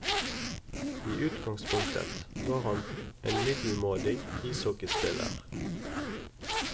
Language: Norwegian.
I utgangspunktet var han en middelmådig ishockeyspiller.